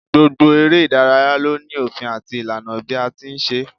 Gbogbo eré ìdárayá ló ní òfin àti ìlànà bí a ti ń ṣe é